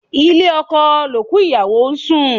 Ilé oko l'òkú ìyàwó n sùn.